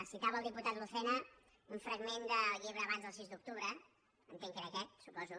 citava el diputat lucena un fragment del llibre abans del sis d’octubre entenc que era aquest suposo